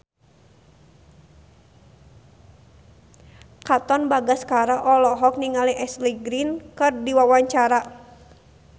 Katon Bagaskara olohok ningali Ashley Greene keur diwawancara